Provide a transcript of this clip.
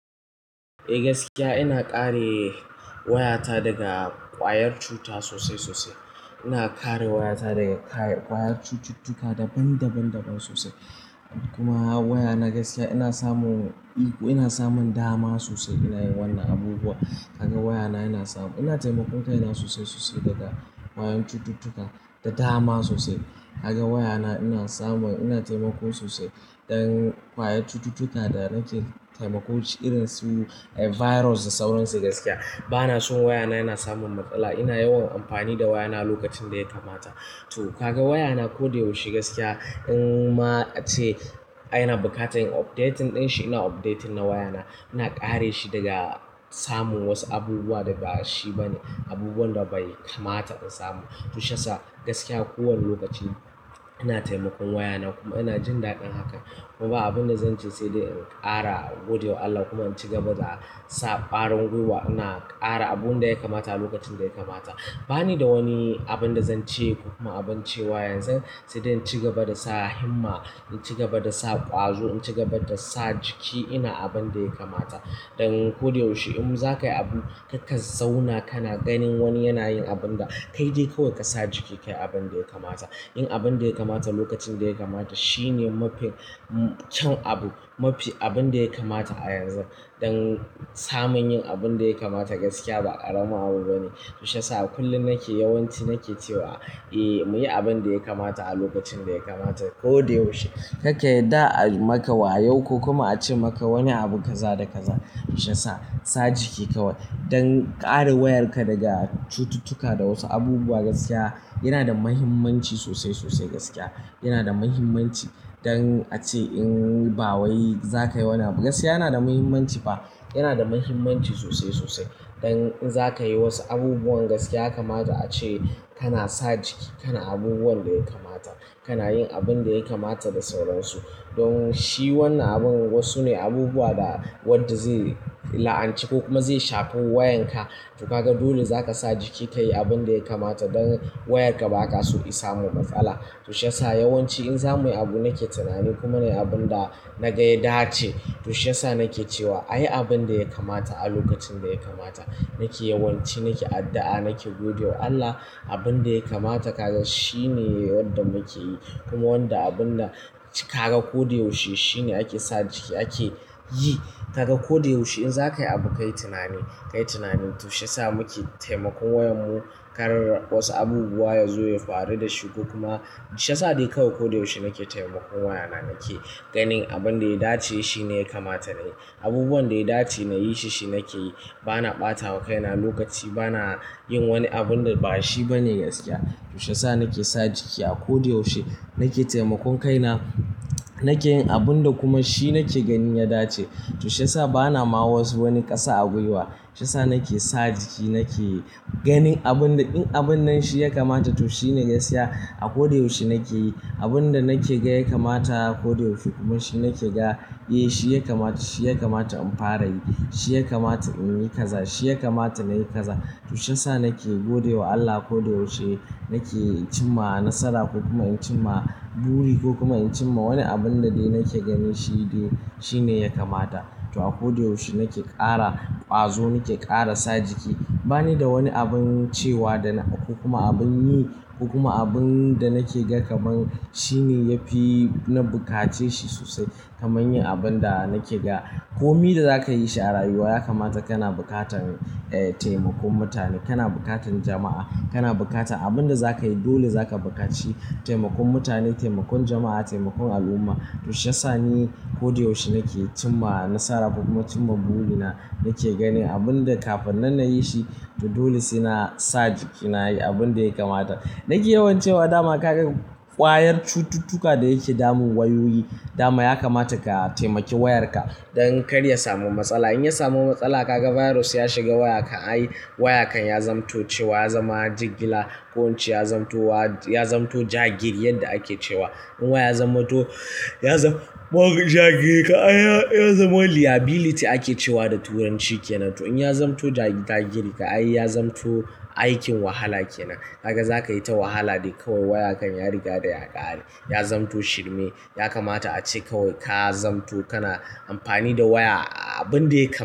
Eh gaskiya ina kare waya ta daga ƙwayar cuta sosai sosai. Ina kare wayata daga ƙwayar cututtuka daban daban sosai. Kuma wayana gaskiya ina samun dama sosai ina yin wannan abubuwa. Kaga waya na ina taimakon kaina sosai sosai daga ƙwayan cututtuka da dama sosai. Ka ga waya na ina taimako sosai don ƙwayar cututtuka da na ke taimakon su irin su virus da sauran su gaskiya. Bana son wayana yana samun matsala. Ina yawan amfani da wayana lokacin da ya kamata. To kaga wayana ko da yaushe gaskiya in ma ace ina buƙatar in updating ɗin shi ina updating na wayana. Ina kare shi daga samun wasu abubuwa da ba shi bane, abubuwan da bai kamata in samu. To shi ya sa gaskiya ko wane lokaci ina taimakon waya na kuma ina jin daɗin hakan. Kuma ba abin da zan ce sai in ƙara gode wa Allah kuma in ci gaba da sa ƙarin gwiwa. Ina ƙara abun da ya kamata lokacin da ya kamata. Ba ni da wani abin da zan ce ko kuma abin cewa yanzu sai dai in ci gaba da sa himma, in ci gaba da sa ƙwazo, in ci gaba da sa jiki ina abin da ya kamata. Don ko da yaushe in za ka yi abu, ka zauna kana ganin wani yana yin abin da kai dai kawai ka sa jiki ka yi abin da ya kamata. Yin abin da ya kamata lokacin da ya kamata shi ne mafi kyawun abu, mafi abin da ya kamata a yanzu. Don samun yin abin da ya kamata gaskiya ba ƙarami abu bane. To shi ya sa kullum yawanci nake cewa, "Mu yi abin da ya kamata a lokacin da ya kamata ko da yaushe." Kar ka yadda a yi ma ka wayo ko kuma a ce ma ka wani abu kaza da kaza. Shi ya sa, sa jiki kawai don kare wayarka daga cututtuka da wasu abubuwa gaskiya yana da muhimmanci sosai sosai gaskiya. Yana da muhimmanci don ace in ba wai za ka yi wani abu gaskiya yana da muhimmanci fa. Yana da muhimmanci sosai sosai. Don in za ka yi wasu abubuwan gaskiya ya kamata a ce kana sa jiki, kana abubuwan da ya kamata, kana yin abin da ya kamata da sauran su. Don shi wannan abun wasu ne abubuwa da wadda zai la'anci ko kuma zai shafi wayan ka. To kaga dole za ka sa jiki ka yi abin da ya kamata don wayar ka ba ka so isa mu matsala. To shi ya sa yawanci in za muyi abu nake tunani kuma na yi abun da na ga ya dace. To shi ya sa nake cewa a yi abin da ya kamata a lokacin da ya kamata. Nake yawanci nake addu'a, nake godewa Allah. Abin da ya kamata kaga shi ne wanda muke yi. Kuma wanda abun da ka ga ko da yaushe shi ne ake sa jiki ake yi. Ka ga ko da yaushe in za ka yi abu kayi tunani, kayi tunani. To shi ya sa muke taimakon wayanmu, kar wasu abubuwa ya zo ya faru da shi. Kuma shi ya sa dai kawai ko da yaushe nake taimakon wayana. Nake ganin abin da ya dace shi ne ya kamata na yi. Abubuwan da ya dace na yi shi shi nake yi. Bana ɓata wa kai na lokaci, bana yin wani abun da ba shi bane gaskiya. To shi ya sa nake sa jiki a ko da yaushe. Nake taimakon kaina, nake yin abun da kuma shi nake gani ya dace. To shi ya sa bana ma wasu wani ƙasa a gwiwa. Tushe sa nake sa jiki nake yi. Ganin abin da in abun nan shi ya kamata to shi ne gaskiya. A ko da yaushe nake yi abun da nake ga ya kamata. Ko da yaushe kuma shi nake ga, "Eh shi ya kamata, shi ya kamata in fara yi. Shi ya kamata in yi kaza, shi ya kamata na yi kaza." to shi ya sa nake godiwa Allah ko da yaushe. Na ke cimma nasara ko kuma in cimma buri ko kuma in cimma wani abun da dai na ke gani shi dai shi ne ya kamata. To a ko da yaushe nake ƙara ƙwazo, nake ƙara sa jiki. Ba ni da wani abin cewa ko kuma abin yi ko kuma abin da nake ga kaman shi ne ya fi na buƙace shi sosai. Kaman yin abun da nake ga. Ko mi da za ka yi shi a rayuwa ya kamata kana buƙatar taimakon mutane, kana buƙatar jama'a, kana buƙatar abin da za ka yi dole za ka buƙaci taimakon mutane, taimakon jama'a, taimakon al'umma. To shi ya sa ni ko da yaushe nake cimma nasara ko kuma cimma burina. Nake ganin abun da kafin nan na yi shi to dole sai na sa jiki na yi abin da ya kamata. Nake yawan cewa dama kaga ƙwayar cututtuka da yake damun wayoyi dama ya kamata ka taimaki wayarka don kar ya samu matsala. In ya samu matsala kaga virus ya shiga waya kan ai waya kan ya zamanto cewa ya zama jigila ko in ce ya zamanto jagiri yadda ake cewa. In waya ya zamanto, ya zamo jagiri kan ai ya zamo liability ake cewa da Turanci kenan. To in ya zamanto jagiri ka ai ya zamanto aikin wahala kenan. Ka ga za ka yi ta wahala dai kawai waya kan ya riga da ya ƙare. Ya zamto shirme. Ya kamata ace kawai ka zamto kana amfani da waya abin da ya kama.